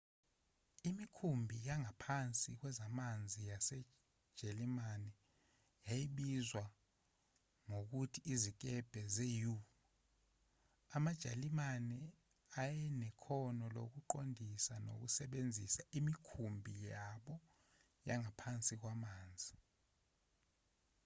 imikhumbi yangaphansi kwamanzi yasejalimane yayibizwa ngokuthi izikebhe ze-u amajalimane ayenekhono lokuqondisa nokusebenzisa imikhumbi yabo yangaphansi kwamanzi